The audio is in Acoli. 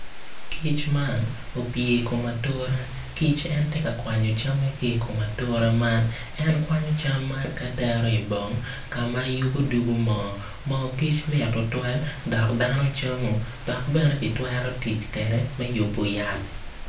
Kic man opye i kom atura kic en tye kakwanyo camme ki i kom atura man en kwanyo cam man ka tero i bong ka ma yubu dugu moo moo kic mit tutwal dok dano camo dok bene kitwero tic kede me yubu yat